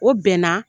O bɛnna